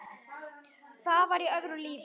Það var í öðru lífi.